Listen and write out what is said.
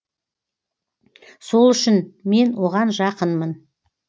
сол үшін мен оған жақынмын